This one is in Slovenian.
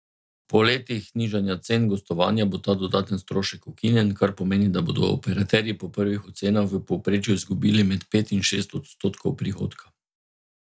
Po letih nižanja cen gostovanja bo ta dodaten strošek ukinjen, kar pomeni, da bodo operaterji po prvih ocenah v povprečju izgubili med pet in šest odstotkov prihodka.